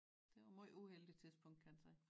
Det var møj uheldig tidspunkt kan en sige